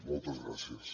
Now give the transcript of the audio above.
moltes gràcies